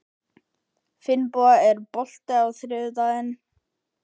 Finnboga, er bolti á þriðjudaginn?